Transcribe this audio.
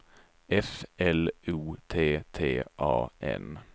F L O T T A N